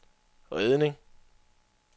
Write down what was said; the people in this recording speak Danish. redning